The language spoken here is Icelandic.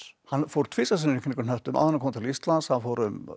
hann fór tvisvar sinnum í kringum hnöttinn áður en hann kom til Íslands hann fór um